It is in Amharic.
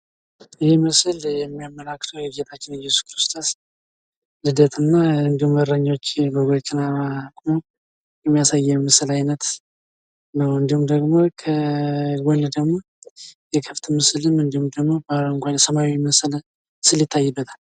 ይሄ ምስል የሚያመላክተው የጌታችን የእየሱስ ክርስቶስ ልደትና እንዲሁም እረኞች በጎችን ሲጠብቁ የሚያሳይ የምስል አይነት ነው። እንዲሁም ከጓን ደሞ የከብት ምስልን እንዲሁም ደሞ ሰማያዊ ምስል ይታይበታል።